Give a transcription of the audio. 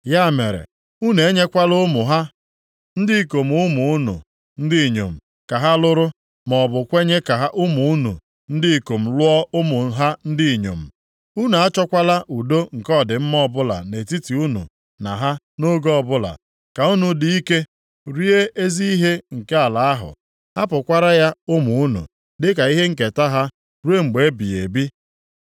Ya mere, unu enyekwala ụmụ ha ndị ikom ụmụ unu ndị inyom ka ha lụrụ, maọbụ kwenye ka ụmụ unu ndị ikom lụọ ụmụ ha ndị inyom. Unu achọkwala udo nke ọdịmma ọbụla nʼetiti unu na ha nʼoge ọbụla, ka unu dị ike, rie ezi ihe nke ala ahụ, hapụkwara ya ụmụ unu dịka ihe nketa ha ruo mgbe ebighị ebi.’